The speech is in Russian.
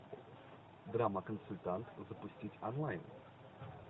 драма консультант запустить онлайн